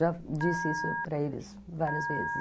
Já disse isso para eles várias vezes.